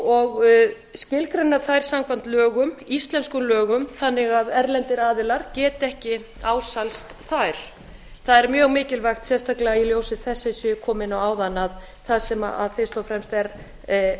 og skilgreina þær samkvæmt íslenskum lögum þannig að erlendir aðilar geti ekki ásælast þær það er mjög mikilvægt sérstaklega í ljósi þess eins g ég kom inn á áðan að það sem evrópusambandið er fyrst